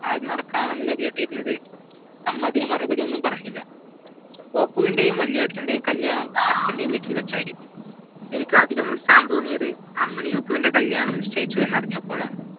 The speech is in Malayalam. നടക്കാണെന്നല്ലേ കേട്ടിരുന്നത് 'അമ്മ അതിനൊന്നും മറുപടിപറഞ്ഞില്ല ഒപ്പുവിൻ്റേയും വലിയേട്ടൻ്റെയും കല്യാണം അച്ഛൻ്റെ വീട്ടിൽ വെച്ചായിരിക്കും എനിക്ക് അതിലും ഉത്സാഹം തോന്നിയത് അമ്മിനിയൊപ്പുവിൻ്റെ കല്യാണം നിശ്ചയിച്ചു എന്ന് അറിഞ്ഞപ്പോഴാണ്